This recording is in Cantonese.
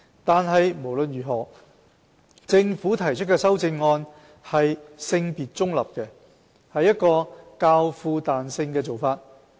但無論如何，政府提出的修正案是性別中立的，是一個較富彈性的做法。